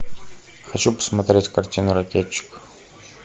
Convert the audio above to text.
хочу посмотреть картину ракетчик